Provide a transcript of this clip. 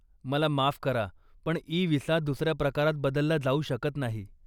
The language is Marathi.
मला माफ करा पण इ विसा दुसऱ्या प्रकारात बदलला जाऊ शकत नाही.